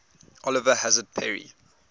oliver hazard perry